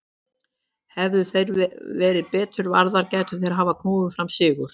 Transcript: Hefðu þær verið betur varðar gætu þeir hafa knúið fram sigur.